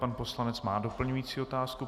Pan poslanec má doplňující otázku.